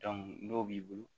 n'o b'i bolo